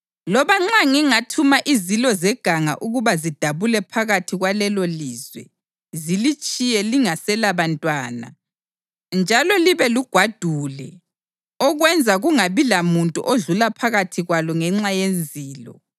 Loba nxa ngingathuma izilo zeganga ukuba zidabule phakathi kwalelolizwe zilitshiye lingaselabantwana njalo libe lugwadule okwenza kungabi lamuntu odlula phakathi kwalo ngenxa yezilo,